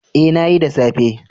Ee, na yi, da safe.